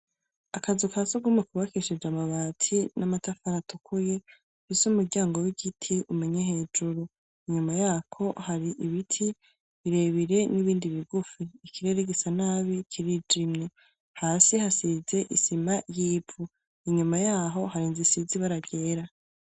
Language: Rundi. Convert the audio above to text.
Akazu kasugumwe Kuba kishije amabati namatafari atukuye ,munsi yumuryango wigiti nyuma yaho hari ibiti birebire nibindi bigufi. Ikirere gisa nabi kirijimye hasi hasize isima yivu, nyuma yaho hasize ibara ryera.